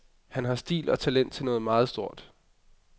Han har stil og talent til noget meget stort.